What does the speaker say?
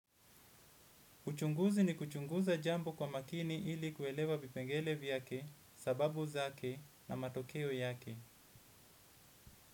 Uchunguzi ni kuchunguza jambo kwa makini ili kuelewa vipengele vyake, sababu zake na matokeo yake.